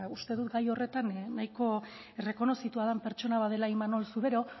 uste dut gai horretan nahiko errekonozitua den pertsona bat dela imanol zubero